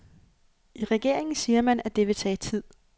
I regeringen siger man, at det vil tage tid.